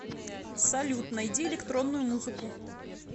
салют найди электронную музыку